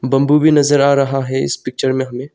Bamboo भी नजर आ रहा है इस पिक्चर में हमें।